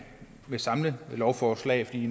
samlelovforslag fordi